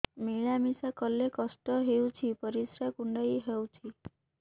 ମିଳା ମିଶା କଲେ କଷ୍ଟ ହେଉଚି ପରିସ୍ରା କୁଣ୍ଡେଇ ହଉଚି